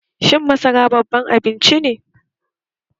Shin masara baban abinci ne?